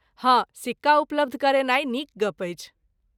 हँ, सिक्का उपलब्ध करेनाइ नीक गप्प अछि।